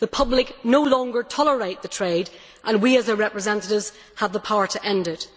The public no longer tolerate the trade and we as their representatives have the power to end it.